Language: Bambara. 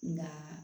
Nka